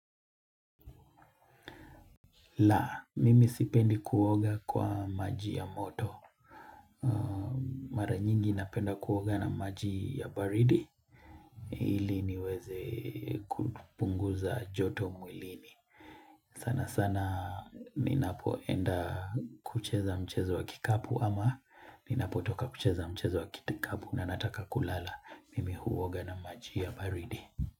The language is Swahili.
La, mimi sipendi kuoga kwa maji ya moto. Mara nyingi napenda kuoga na maji ya baridi. Ili niweze kupunguza joto mwilini. Sana sana, ninapoenda kucheza mchezo wa kikapu. Ama ninapotoka kucheza mchezo wa kikapu na nataka kulala. Mimi huoga na maji ya baridi.